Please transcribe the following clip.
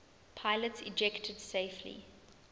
pilots ejected safely